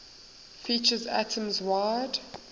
features atoms wide